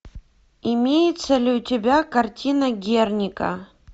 имеется ли у тебя картина герника